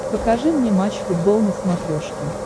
покажи мне матч футбол на смотрешке